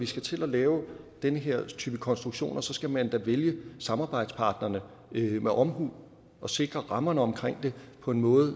skal til at lave den her type konstruktioner skal man da vælge samarbejdspartnerne med omhu og sikre rammerne om det på en måde